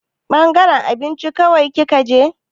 Ɓangaren abinci kawai kika je?